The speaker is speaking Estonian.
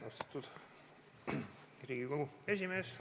Astatud Riigikogu esimees!